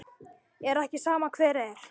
Er ekki sama hver er?